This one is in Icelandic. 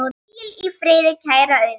Hvíl í friði, kæra Auður.